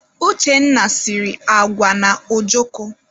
Uchenna siri agwa na ojoko.